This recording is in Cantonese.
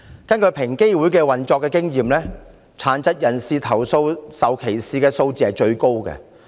根據平機會的經驗，殘疾人士投訴受歧視的數字最高。